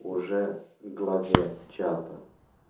уже главе чата